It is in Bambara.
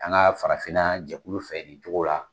An ka farafinna jɛkulu fɛ nin cogo la